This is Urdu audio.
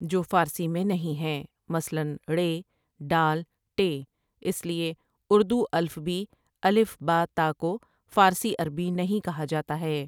جو فارسی میں نہیں ہیں مثلاً ڑ، ڈ، ٹ ، اس لیے اردو الفبی ا ب ت کو فارسی عربی نہیں کہا جاتا ہے ۔